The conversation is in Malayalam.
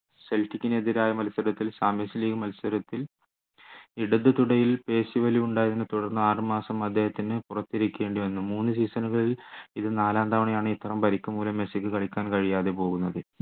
സെൽറ്റിക്ന് എതിരായ മത്സരത്തിൽ champions league മത്സരത്തിൽ ഇടത് തുടയിൽ പേശിവലിവ് ഉണ്ടായതിനെ തുടർന്ന് ആറുമാസം അദ്ദേഹത്തിന് പുറത്തിരിക്കേണ്ടി വന്നു മൂന്ന് season കളിൽ ഇത് നാലാം തവണയാണ് ഇത്തരം പരിക്കുമൂലം മെസ്സിക്ക് കളിക്കാൻ കഴിയാതെ പോകുന്നത്